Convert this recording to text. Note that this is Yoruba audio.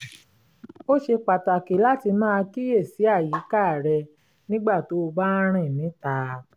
ó ṣe pàtàkì láti máa kíyèsí àyíká rẹ nígbà tó o bá ń rìn níta